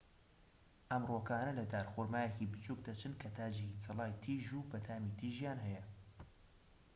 ئەم ڕووەکانە لە دارخورمایەکی بچووک دەچن کە تاجێکی گەڵای تیژ و بەتامی تیژیان هەیە